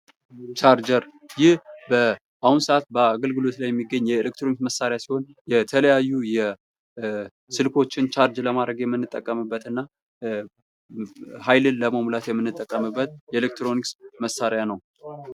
ቻርጀር ይህ በአሁኑ ሰአት አገልግሎት ላይ የሚገኝ የኤሌክትሮኒክስ መሳሪያ ሲሆን የተለያዩ ስልኮችን ቻርጅ ለማድረግ የምንጠቀምበትና ሃይልን ለመሙላት የምንጠቀምበት የኤሌክትሮኒክስ መሳሪያ ነው።